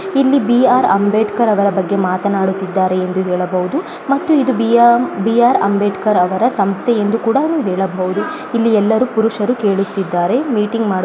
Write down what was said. ಇಲ್ಲಿ ಬಿ.ಆರ್.ಅಂಬೇಡ್ಕರ್ ಅವರ ಬಗ್ಗೆ ಮಾತನಾಡುತ್ತಿದ್ದಾರೆ ಎಂದು ಹೇಳಬಹುದು ಮತ್ತು ಇದು ಬಿ.ಆರ್. ಬಿ.ಆರ್. ಅಂಬೇಡ್ಕರ್ ಅವರ ಸಂಸ್ಥೆ ಎಂದು ಕೂಡ ಹೇಳಬಹುದು ಇಲ್ಲಿ ಎಲ್ಲರೂ ಪುರುಷರು ಕೇಳುತ್ತಿದ್ದಾರೆ ಮೀಟಿಂಗ್ ಮಾಡು __